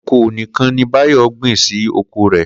Kòkó nìkan ni Báyò̩ gbìn sí oko rè̩